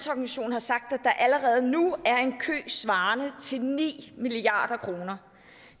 har sagt at der allerede nu er en kø svarende til ni milliard kroner